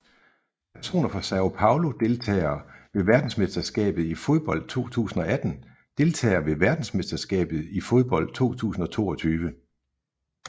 Personer fra São Paulo Deltagere ved verdensmesterskabet i fodbold 2018 Deltagere ved verdensmesterskabet i fodbold 2022